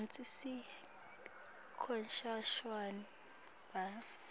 kantsi sekushone bantfu